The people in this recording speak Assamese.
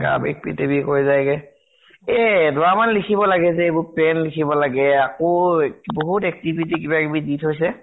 গা বিষ, পিঠি বিষ হৈ যায় গে । এ এদৰামান লিখিব লাগে গে যে এইবোৰ, pen লিখিব লাগে আকৌ বহুত activity কিবা কিবি দি থৈছে ।